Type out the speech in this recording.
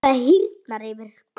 Það hýrnar yfir Klöru.